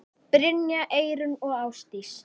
Brynja, Eyrún og Ásdís.